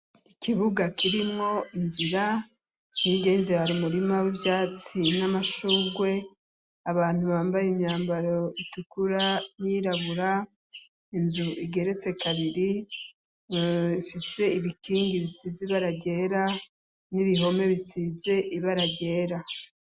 Ikibuga kirimwo inzira nigenzebar umurima w'ibyatsi n'amashungwe abantu bambaye imyambaro itukura nirabura inzu igeretse kabiri ifise ibikingi bisize ibaragera n'ibihome bisize ibaragera.